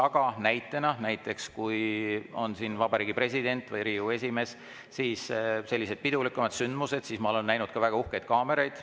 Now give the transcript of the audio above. Aga kui siin on näiteks vabariigi president või Riigikogu esimees olnud, siis sellistel pidulikumatel sündmustel ma olen näinud ka väga uhkeid kaameraid.